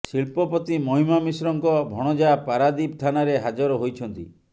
ଶିଳ୍ପପତି ମହିମା ମିଶ୍ରଙ୍କ ଭଣଜା ପାରାଦୀପ ଥାନାରେ ହାଜର ହୋଇଛନ୍ତି